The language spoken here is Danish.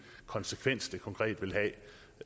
konsekvens det konkret vil